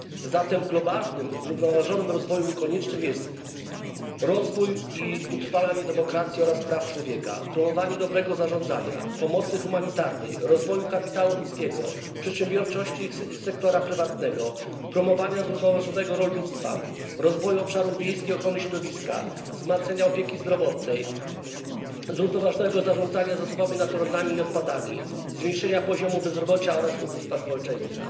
Zatem w globalnym zrównoważonym rozwoju konieczne są rozwój i utrwalanie demokracji oraz praw człowieka, promowanie dobrego zarządzania, pomocy humanitarnej, rozwoju kapitału ludzkiego, przedsiębiorczości i sektora prywatnego, promowanie zrównoważonego rolnictwa, rozwoju obszarów wiejskich i ochrony środowiska, wzmacnianie opieki zdrowotnej, zrównoważonego zarządzania zasobami naturalnymi i odpadami, zmniejszenie poziomu bezrobocia oraz ubóstwa społeczeństwa.